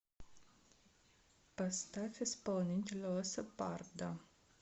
поставь исполнителя лоссапардо